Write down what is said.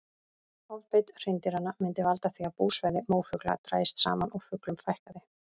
Ofbeit hreindýranna myndi valda því að búsvæði mófugla drægist saman og fuglum fækkaði.